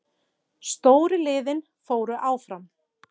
Stóru liðin fóru áfram